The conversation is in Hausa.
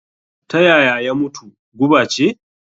Ta yaya ya mutu? guba ce?